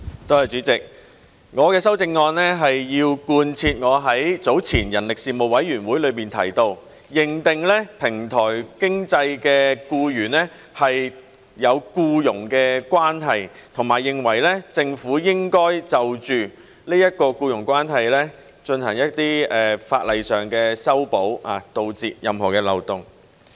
主席，我的修正案是要貫徹我早前在人力事務委員會裏提到，應該認定平台經濟的僱員是有僱傭關係，以及認為政府應該就這種僱傭關係作一些法例修訂，以堵塞任何漏洞。